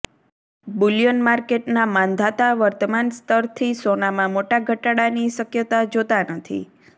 Boolean માર્કેટના માંધાતા વર્તમાન સ્તરથી સોનામાં મોટા ઘટાડાની શક્યતા જોતા નથી